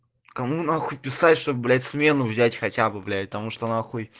кому нахуй писать что блять смену взять хотя бы блять потому что нахуй